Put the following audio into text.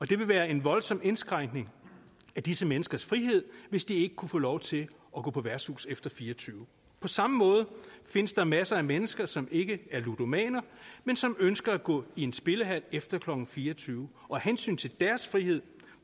det vil være en voldsom indskrænkning af disse menneskers frihed hvis de ikke kunne få lov til at gå på værtshus efter klokken fire og tyve på samme måde findes der masser af mennesker som ikke er ludomaner men som ønsker at gå i en spillehal efter klokken fire og tyve og af hensyn til deres frihed